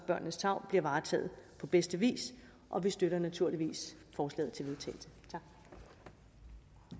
børnenes tarv bliver varetaget på bedste vis og vi støtter naturligvis forslaget til vedtagelse